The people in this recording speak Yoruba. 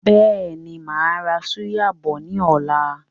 Bẹ́ẹ̀ni, máa ra súyà bọ̀ ni ọ̀la.